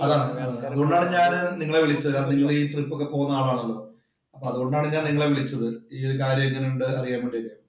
അതാണ് അതുകൊണ്ടാണ് ഞാൻ നിങ്ങളെ വിളിച്ചത്. നിങ്ങൾ ഈ ട്രിപ്പ് ഒക്കെ പോകുന്ന ആളാണല്ലോ